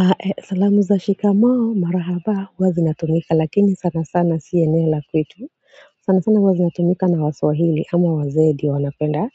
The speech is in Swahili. Ae salamu za shikamoo marahaba huwa zinatumika lakini sana sana si eneo la kwetu sana sana huwa zinatumika na waswahili ama wazee ndio wanapenda